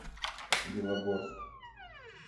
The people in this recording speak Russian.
белогорск